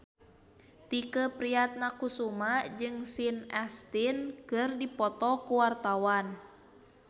Tike Priatnakusuma jeung Sean Astin keur dipoto ku wartawan